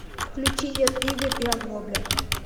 включи дед игорь и оглобля